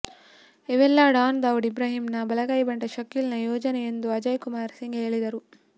ಇವೆಲ್ಲಾ ಡಾನ್ ದಾವೂದ್ ಇಬ್ರಾಹಿಂ ನ ಬಲಗೈ ಬಂಟ ಶಕೀಲ್ ನ ಯೋಜನೆ ಎಂದು ಅಜಯ್ ಕುಮಾರ್ ಸಿಂಗ್ ಹೇಳಿದರು